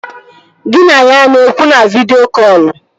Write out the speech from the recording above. Gị na ya a na-ekwu na vidịo kọlụ?